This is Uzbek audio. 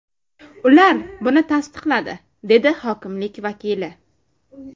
Ular buni tasdiqladi”, dedi hokimlik vakili.